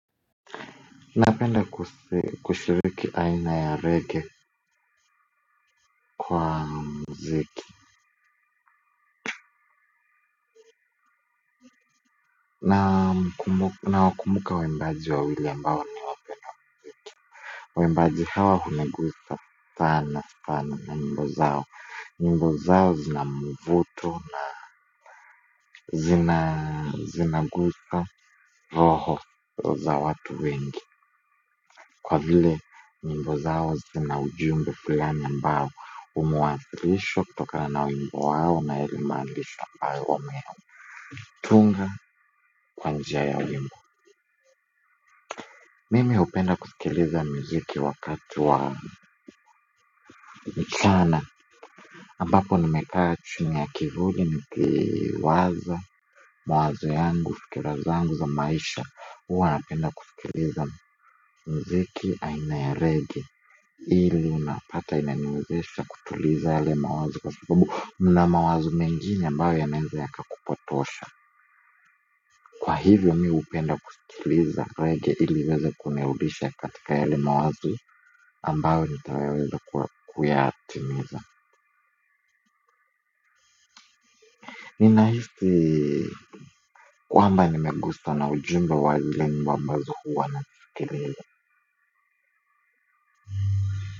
Napenda kushiriki aina ya reggae kwa mziki na wakumbuka waimbaji wawili ambao ni wapenda kwetu. Waimbaji hawa hunigusa sana sana na wimbo zao nyimbo zao zinamvuto na zina zinagusa roho za watu wengi kwa vile wimbo zao zina ujumbe fulani ambao umewakilishwa kutokana na wimbo wao na yale maandishi ambayo wa meho tunga kwa njia ya wimbo mimi hupenda kusikiliza mziki wakati wa mchana ambapo nimekaa chuni ya kivuli ni kiwaza mawazo yangu fikira zangu za maisha uwa napenda kusikiliza mziki aina ya reggae ili unapata inaniwezesha kutuliza yale mawazo kwa sababu mna mawazo mengine ambayo yanaweza ya kakupatosha kwa hivyo mi hupenda kusikiliza reggae ili iweza kunirudisha katika yale mawazi ambayo nitayaweza kuyatimiza ninahisi kwamba nimeguswa na ujumba wa zile nyimbo ambazo huwa na nisikiliza.